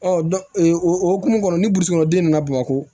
o hokumu kɔnɔ ni burusi kɔnɔ den nana bamakɔ